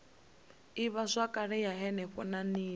ivhazwakale ya henefho na nila